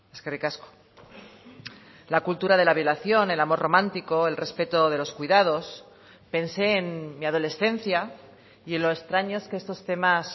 eskerrik asko la cultura de la violación el amor romántico el respeto de los cuidados pensé en mi adolescencia y en lo extraños que estos temas